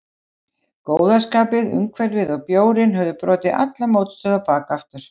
Góða skapið, umhverfið og bjórinn höfðu brotið alla mótstöðu á bak aftur.